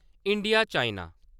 India China